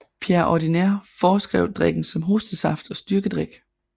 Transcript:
Pierre Ordinaire foreskrev drikken som hostesaft og styrkedrik